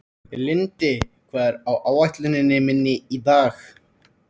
Lindi, hvað er á áætluninni minni í dag?